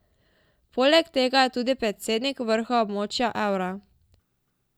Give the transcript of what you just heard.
Poleg tega je tudi predsednik vrha območja evra.